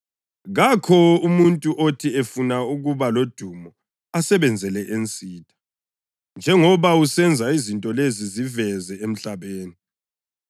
Kakho umuntu othi efuna ukuba lodumo asebenzele ensitha. Njengoba usenza izinto lezi ziveze emhlabeni.”